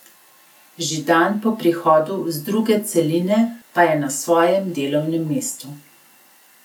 Že dan po prihodu z druge celine pa je na svojem delovnem mestu.